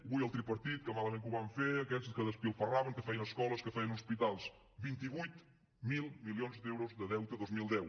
ui el tripartit que malament que ho vam fer aquests que malgastaven que feien escoles que feien hospitals vint vuit mil milions d’euros de deute dos mil deu